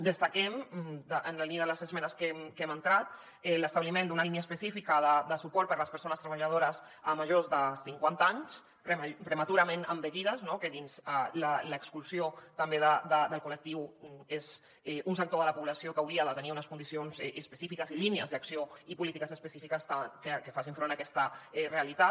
destaquem en la línia de les esmenes que hem entrat l’establiment d’una línia específica de suport per a les persones treballadores majors de cinquanta anys prematurament envellides que dins l’exclusió també del col·lectiu és un sector de la població que ha de tenir unes condicions específiques i línies d’acció i polítiques específiques que facin front a aquesta realitat